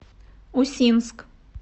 усинск